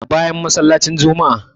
Bayan masallacin juma'a